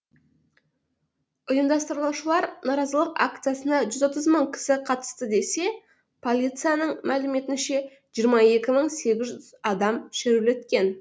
ұйымдастырушылар наразылық акциясына жүз отыз мың кісі қатысты десе полицияның мәліметінше жиырма екі мың сегіз жүз адам шерулеткен